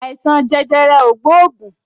Àìsàn jẹjẹrẹ o gbóògùn